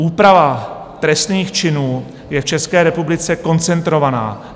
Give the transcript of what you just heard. Úprava trestných činů je v České republice koncentrovaná.